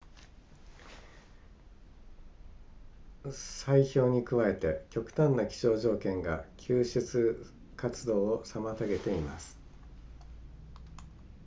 砕氷に加えて極端な気象条件が救助活動を妨げています